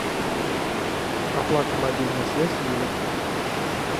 оплата мобильная связь юля